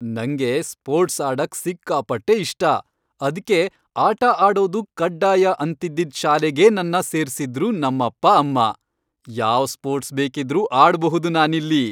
ನಂಗೆ ಸ್ಪೋರ್ಟ್ಸ್ ಆಡಕ್ ಸಿಕ್ಕಾಪಟ್ಟೆ ಇಷ್ಟ. ಅದ್ಕೆ ಆಟ ಆಡೋದು ಕಡ್ಡಾಯ ಅಂತಿದ್ದಿದ್ ಶಾಲೆಗೇ ನನ್ನ ಸೇರ್ಸಿದ್ರು ನಮ್ಮಪ್ಪ ಅಮ್ಮ. ಯಾವ್ ಸ್ಪೋರ್ಟ್ಸ್ ಬೇಕಿದ್ರೂ ಆಡ್ಬುಹುದು ನಾನಿಲ್ಲಿ.